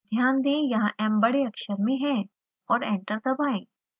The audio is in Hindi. ध्यान दें यहाँ m बड़े अक्षर में है और एंटर दबाएं